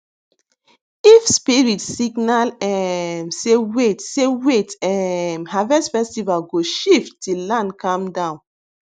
if spirit signal um say wait say wait um harvest festival go shift till land calm down